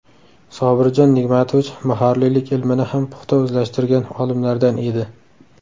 Sobirjon Nigmatovich muharrirlik ilmini ham puxta o‘zlashtirgan olimlardan edi.